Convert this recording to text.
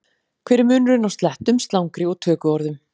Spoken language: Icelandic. Hver er munurinn á slettum, slangri og tökuorðum?